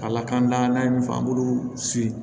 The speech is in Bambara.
Ka lakana n'an ye min fɔ an b'olu si